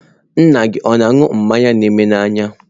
Nna gị ọ̀ na-aṅụ mmanya na eme n'anya?